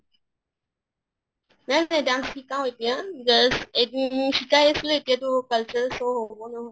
নাই নাই dance শিকাও এতিয়া just এ শিকাই আছিলোঁ, এতিয়াতো cultural show হʼব ন